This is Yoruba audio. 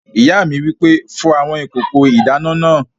Ìyá mi wí pé "fọ àwọn kòkò ìdáná náà!"